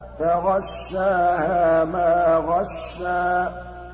فَغَشَّاهَا مَا غَشَّىٰ